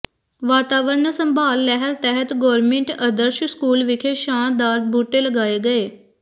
ਵਾਤਾਵਰਨ ਸੰਭਾਲ ਲਹਿਰ ਤਹਿਤ ਗੋਰਮਿੰਟ ਅਦਰਸ਼ ਸਕੂਲ ਵਿਖੇ ਛਾਂ ਦਾਰ ਬੂਟੇ ਲਗਏ ਗਏ